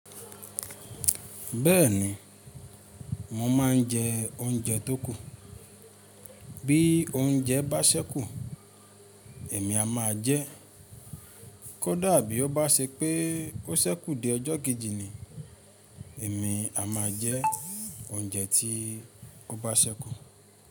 Bẹ́ẹ̀ni, mo máa ń jẹ oúnjẹ tó kù. Bí oúnjẹ bá ṣẹ́kù, èmi a máa jẹ ẹ́. Kódà bí ó bá ṣe pé ó ṣẹ́kù di ọjọ́ kejì ni, èmi a máa jẹ oúnjẹ tí ó bá ṣẹ́kù.